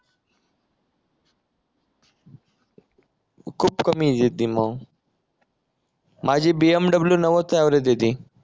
खूप कमी आहे जितीन भाऊ माझी BMW नव्वद च ऍव्हरेज देते